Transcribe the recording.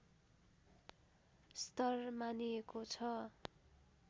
स्तर मानिएको छ